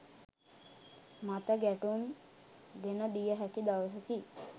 මතගැටුම් ගෙන දිය හැකි දවසකි